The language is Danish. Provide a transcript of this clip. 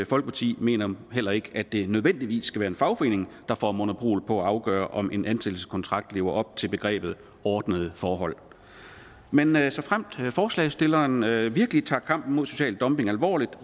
folkeparti mener heller ikke at det nødvendigvis skal være en fagforening der får monopol på at afgøre om en ansættelseskontrakt lever op til begrebet ordnede forhold men men såfremt forslagsstillerne virkelig tager kampen mod social dumping alvorligt